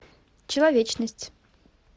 человечность